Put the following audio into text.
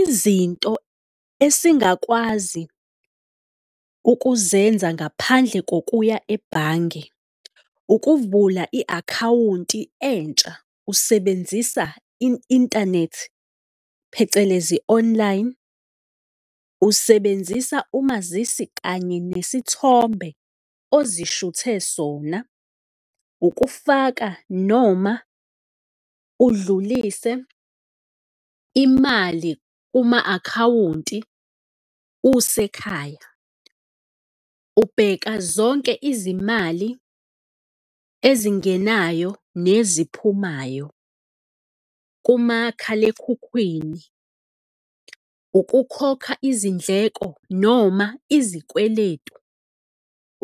Izinto esingakwazi ukuzenza ngaphandle kokuya ebhange ukuvula i-akhawunti entsha usebenzisa inthanethi, phecelezi online, usebenzisa umazisi kanye nesithombe ozishuthe sona, ukufaka noma udlulise imali kuma akhawunti usekhaya, ubheka zonke izimali ezingenayo neziphumayo kumakhalekhukhwini, ukukhokha izindleko noma izikweletu,